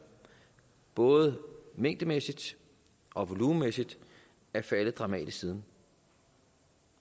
både mængdemæssigt og volumenmæssigt er faldet dramatisk siden